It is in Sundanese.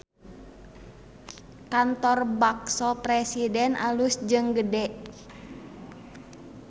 Kantor Bakso Presiden alus jeung gede